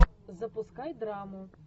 запускай драму